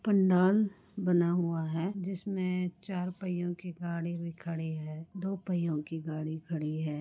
पंडाल बना हुआ है जिसमे चार पहियों की गाड़ी भी खड़ी है दो पहियों की गाड़ी खड़ी है।